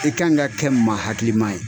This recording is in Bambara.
I kan ŋa kɛ maa hakilima ye.